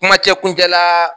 Kumacɛ kuncɛ la